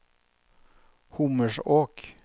Hommersåk